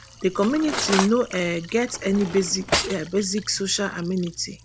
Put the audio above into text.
di community no um get any basic basic social amenity